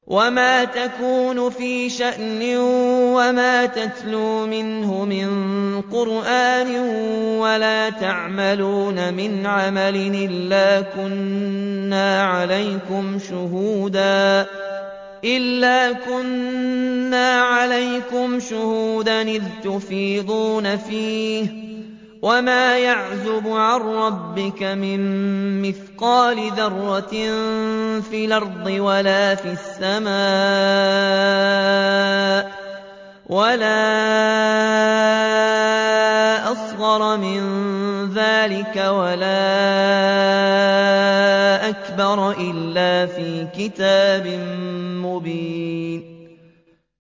وَمَا تَكُونُ فِي شَأْنٍ وَمَا تَتْلُو مِنْهُ مِن قُرْآنٍ وَلَا تَعْمَلُونَ مِنْ عَمَلٍ إِلَّا كُنَّا عَلَيْكُمْ شُهُودًا إِذْ تُفِيضُونَ فِيهِ ۚ وَمَا يَعْزُبُ عَن رَّبِّكَ مِن مِّثْقَالِ ذَرَّةٍ فِي الْأَرْضِ وَلَا فِي السَّمَاءِ وَلَا أَصْغَرَ مِن ذَٰلِكَ وَلَا أَكْبَرَ إِلَّا فِي كِتَابٍ مُّبِينٍ